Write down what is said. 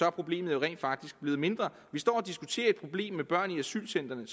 at problemet rent faktisk er blevet mindre vi står og diskuterer et problem med børn i asylcentrene